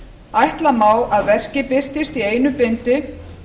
ætla má að verkið birtist í einu bindi